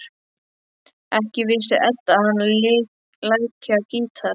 Ekki vissi Edda að hann léki á gítar.